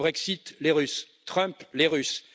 Le Brexit les Russes Trump les Russes